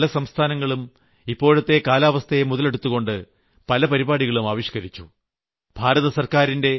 കഴിഞ്ഞ ദിവസങ്ങളിൽ പല സംസ്ഥാനങ്ങളും ഇപ്പോഴത്തെ കാലാവസ്ഥയെ മുതലെടുത്തുകൊണ്ട് പല പരിപാടികളും ആവിഷ്ക്കരിച്ചു